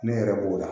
Ne yɛrɛ b'o la